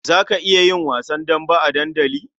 Za ka iya yin wasan dambe a dandali?